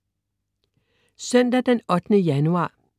Søndag den 8. januar